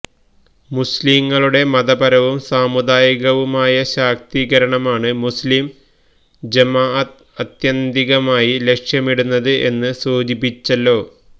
മുസ്ലിംകളുടെ മതപരവും സാമുദായികവുമായ ശാക്തീകരണമാണ് മുസ്ലിം ജമാഅത്ത് ആത്യന്തികമായി ലക്ഷ്യമിടുന്നത് എന്ന് സൂചിപ്പിച്ചല്ലോ